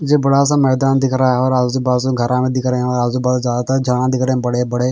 जे बड़ा सा मैदान दिख रहा हैं और आजू बाजू घरा भी दिख रहे है और आजू बाजू ज्यादा तरह झाडां दिख रहे हैं बड़े बड़े--